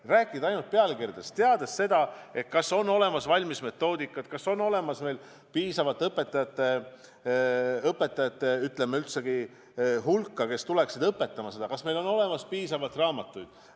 Ei saa rääkida ainult pealkirjadest, mitte teades seda, kas on olemas valmis metoodika, kas on olemas piisavalt õpetajaid, kes hakkaksid õpetama, kas on olemas piisavalt õpikuid.